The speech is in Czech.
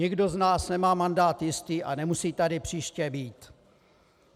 Nikdo z nás nemá mandát jistý a nemusí tady příště být.